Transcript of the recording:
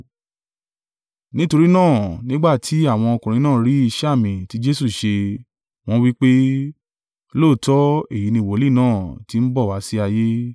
Nítorí náà nígbà tí àwọn ọkùnrin náà rí iṣẹ́ àmì tí Jesu ṣe, wọ́n wí pé, “Lóòótọ́ èyí ni wòlíì náà tí ń bọ̀ wá sí ayé.”